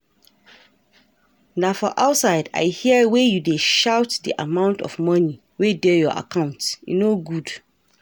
Na for outside I hear wey you dey shout the amount of money wey dey your account. E no good.